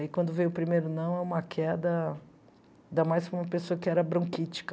Aí quando veio o primeiro não, é uma queda, ainda mais para uma pessoa que era bronquítica.